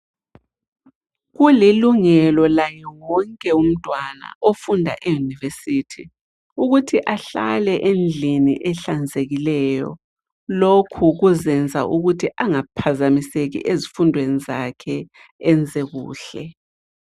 Kulilungelo laye wonke umntwana ofunda eyunivesithi ukuthi ahlale endlini ehlanzekileyo. Lokhu kuzenza ukuthi angaphazamiseki ezifundweni zakhe enze kuhle.